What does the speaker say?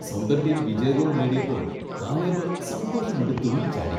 സ്വന്തം ടീം വിജയ ഗോൾ നേടിയപ്പോൾ കാലേബ് സന്തോഷം കൊണ്ട് തുള്ളിച്ചാടി.